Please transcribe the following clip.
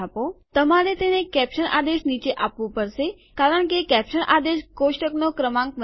તમારે તેને કેપ્સન આદેશ નીચે આપવું પડશે કારણ કે કેપ્સન આદેશ એ છે જે કોષ્ટકનો ક્રમાંક બનાવે છે